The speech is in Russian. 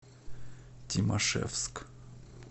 тимашевск